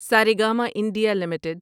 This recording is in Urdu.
Saregama India limited